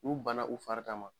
U bana u fari kama